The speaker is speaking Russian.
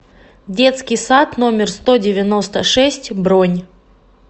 детский сад номер сто девяносто шесть бронь